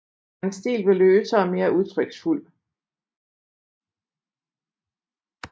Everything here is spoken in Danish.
Hans stil blev løsere og mere udtryksfuld